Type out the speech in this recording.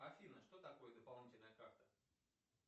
афина что такое дополнительная карта